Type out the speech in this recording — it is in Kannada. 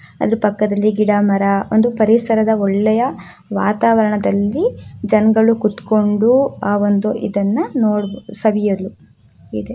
ಆದು ಪಕ್ಕದಲ್ಲಿ ಗಿಡ ಮರ ಒಂದು ಪರಿಸರದ ಒಳ್ಳೆಯ ವಾತಾವರಣದಲ್ಲಿ ಜನಗಳು ಕೂತ್ಕೊಂಡು ಆ ಒಂದು ಇದನ್ನ ನೋಡ ಸವಿಯಲು ಇದು --